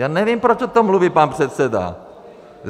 Já nevím, proč o tom mluví pan předseda.